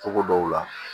Togo dɔw la